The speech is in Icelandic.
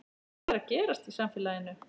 Hvað er að gerast í samfélaginu?